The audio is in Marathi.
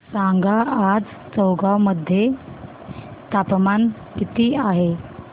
सांगा आज चौगाव मध्ये तापमान किता आहे